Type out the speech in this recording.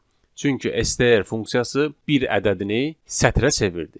Çünki STR funksiyası bir ədədini sətrə çevirdi.